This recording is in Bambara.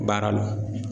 Baara la